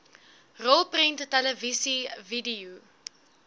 rolprent televisie video